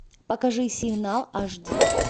покажи сигнал аш ди